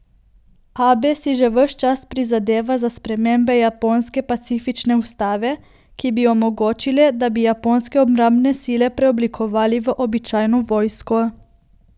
Abe si že ves čas prizadeva za spremembe japonske pacifistične ustave, ki bi omogočile, da bi japonske obrambne sile preoblikovali v običajno vojsko.